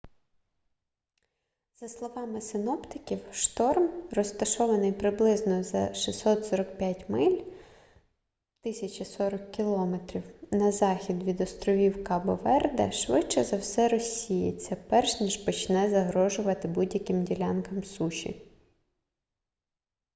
за словами синоптиків шторм розташований приблизно за 645 миль 1040 км на захід від островів кабо-верде швидше за все розсіється перш ніж почне загрожувати будь-яким ділянкам суші